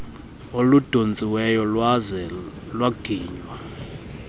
oludontsiweyo lwaze lwaginywa